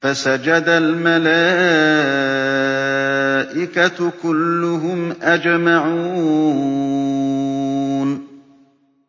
فَسَجَدَ الْمَلَائِكَةُ كُلُّهُمْ أَجْمَعُونَ